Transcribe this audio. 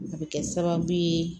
A bɛ kɛ sababu ye